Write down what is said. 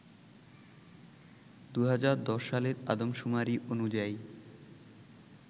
২০১০ সালের আদমশুমারি অনুযায়ী